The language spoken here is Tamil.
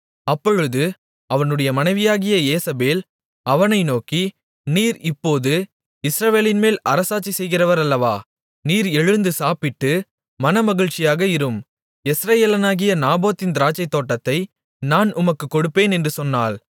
அப்பொழுது அவனுடைய மனைவியாகிய யேசபேல் அவனை நோக்கி நீர் இப்போது இஸ்ரவேலின்மேல் அரசாட்சிசெய்கிறவர் அல்லவா நீர் எழுந்து சாப்பிட்டு மனமகிழ்ச்சியாக இரும் யெஸ்ரயேலனாகிய நாபோத்தின் திராட்சைத்தோட்டத்தை நான் உமக்குக் கொடுப்பேன் என்று சொன்னாள்